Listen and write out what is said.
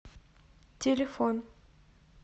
телефон